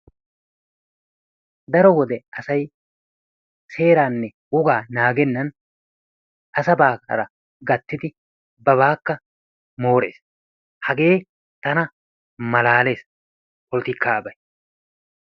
Daro wodiyan asay seeraanne wogaa naagennan asabaara gattidi babaakka moorees. Hagee tana malaalees polttikkaabay.